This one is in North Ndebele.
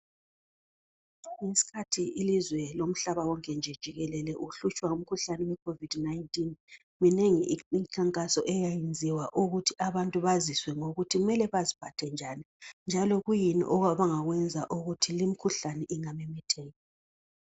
Ngesikhathi ilizwe lomhlaba wonke nje jikelele uhlutshwa ngumkhuhlane we Covid 19 minengi imikhankaso eyayiyenziwa ukuthi abantu baziswe ukuthi kumele baziphathe njani njalo kuyini abangakwenza ukuthi limkhuhlane ingamemetheki.